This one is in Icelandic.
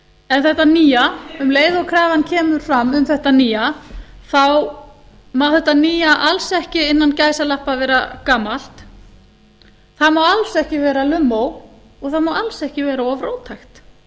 en þetta nýja um leið og krafan kemur fram um þetta nýja þá má þetta nýja alls ekki innan gæsalappa vera gamalt það má alls ekki vera lummó og það má alls ekki vera of róttækt